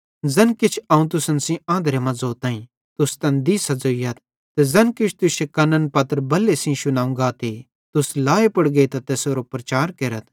ज़ैन किछ अवं तुसन सेइं आंधरे मां ज़ोताईं तुस तैन दिसां ज़ोइयथ ते ज़ैन किछ तुश्शे कन्ने पत्र बल्हे सेइं शुनावं गाते तुस लाए पुड़ गेइतां तैसेरो प्रचार केरथ